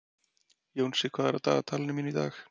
Jónsi, hvað er á dagatalinu mínu í dag?